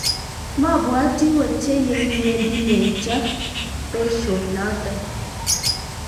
mwabwatin wochei yekiwendi menjo besio noto.